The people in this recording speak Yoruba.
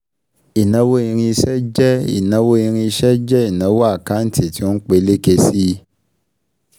Ìnáwó irinṣẹ́ jẹ́ ìnáwó irinṣẹ́ jẹ́ ìnáwó àkántì tí ó ń peléke sí i